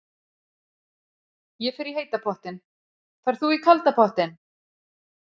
Ég fer í heita pottinn. Ferð þú í kalda pottinn?